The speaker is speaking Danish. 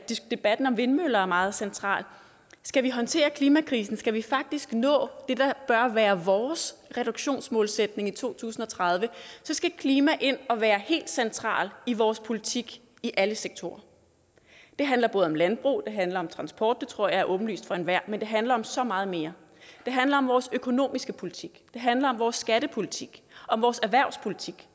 debatten om vindmøller er meget central skal vi håndtere klimakrisen skal vi faktisk nå det der bør være vores reduktionsmålsætning i to tusind og tredive så skal klima ind og være helt centralt i vores politik i alle sektorer det handler både om landbrug det handler om transport det tror jeg er åbenlyst for enhver men det handler om så meget mere det handler om vores økonomiske politik det handler om vores skattepolitik om vores erhvervspolitik